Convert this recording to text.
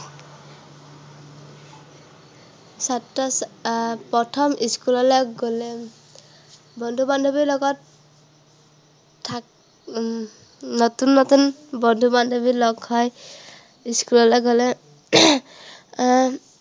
ছাত্ৰ আহ প্ৰথম school লে গলে, উম বন্ধু-বান্ধৱীৰ লগত থাক উম নতুন নতুন বন্ধু-বান্ধৱী লগ হয়। school লে গলে এৰ